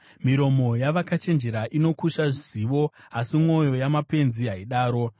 Miromo yavakachenjera inokusha zivo; asi mwoyo yamapenzi haidaro.